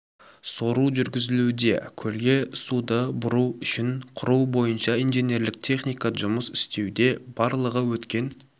сору жүргізілуде көлге суды бұру үшін құру бойынша инженерлік техника жұмыс істеуде барлығы өткен